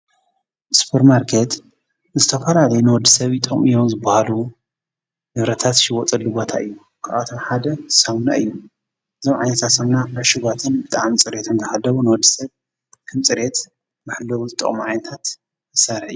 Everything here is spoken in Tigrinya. ሱፐርማርኬት ዝተፈላለዩ ንወዲሰብ ይጠቅሙ እዮም ዝባሃሉ ንብረታት ዝሽየጠሉ ቦታ እዩ፡፡ ካብኣቶም ሓደ ሳሙና እዩ፡፡ እዞም ዓይነታት ሳሙና ዕሽጋትን ብጣዕሚ ፅሬቶም ዝሓለው ንወዲ ሰብ ከምፅሬት መሐለውን ዝጠቕሙ ዓይነት መሳርሒ እዩ፡፡